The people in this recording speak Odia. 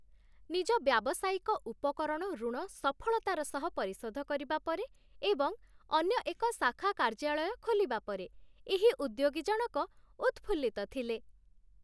ନିଜ ବ୍ୟାବସାୟିକ ଉପକରଣ ଋଣ ସଫଳତାର ସହ ପରିଶୋଧ କରିବା ପରେ ଏବଂ ଅନ୍ୟ ଏକ ଶାଖା କାର୍ଯ୍ୟାଳୟ ଖୋଲିବା ପରେ, ଏହି ଉଦ୍ୟୋଗୀ ଜଣକ ଉତ୍‌ଫୁଲ୍ଲିତ ଥିଲେ।